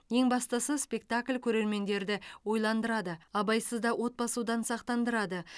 ең бастысы спектакль көрермендерді ойландырады абайсызда от басудан сақтандырады